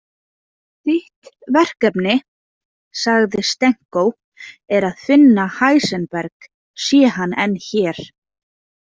Þitt verkefni, sagði Stenko, „er að finna Heisenberg sé hann enn hér.